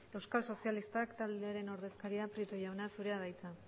euskal sozialista taldearen ordezkaria prieto jauna zurea da hitza